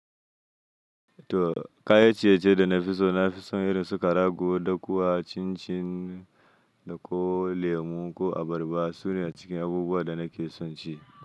To, kayan ciye-ciye da na fi so, na fi son irin su ƙarago, dakuwa, cin-cin, da ko lemu ko abarba. Su ne a cikin abubuwan da nake son ci.